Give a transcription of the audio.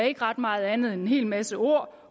ikke ret meget andet end en hel masse ord